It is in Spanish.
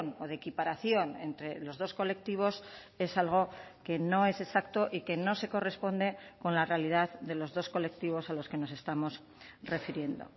o de equiparación entre los dos colectivos es algo que no es exacto y que no se corresponde con la realidad de los dos colectivos a los que nos estamos refiriendo